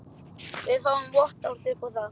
Við fáum vottorð upp á það.